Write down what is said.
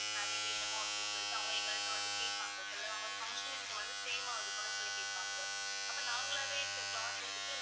saree வேணுமோ அப்படீன்னு சொல்லிட்டு அவங்க எங்கள்ட்ட வந்து கேட்பாங்க சொல்லுவாங்க function க்கு வந்து same ஆ இருக்கணும் சொல்லி கேட்பாங்க அப்ப நாங்களாவே cloth எடுத்தது